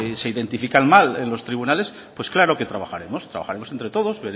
se identifican mal en los tribunales pues claro que trabajaremos trabajaremos entre todos